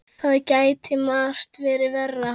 Það gæti margt verið verra.